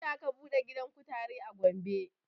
Jiya aka buɗe gidan kutare a gombe